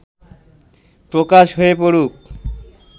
প্রকাশ হয়ে পড়ুক